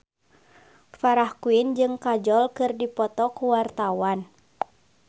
Farah Quinn jeung Kajol keur dipoto ku wartawan